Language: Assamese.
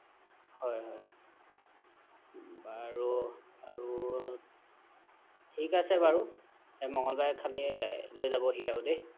হ'য় হ'য় বাৰু আৰু ঠিক আছে বাৰু মঙ্গলবাৰে খালি লৈ যাব দিব দেই